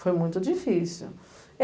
Foi muito difícil.